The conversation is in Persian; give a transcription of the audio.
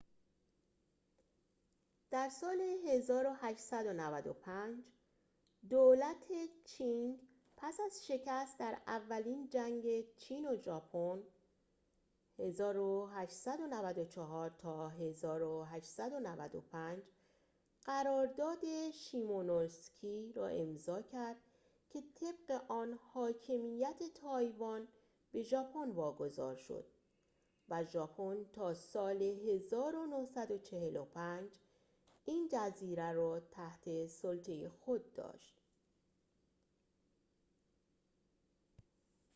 در سال 1895، دولت چینگ پس از شکست در اولین جنگ چین و ژاپن 1894 تا 1895 قرارداد شیمونوسکی را امضا کرد که طبق آن حاکمیت تایوان به ژاپن واگذار شد و ژاپن تا سال 1945 این جزیره را تحت سلطه خود داشت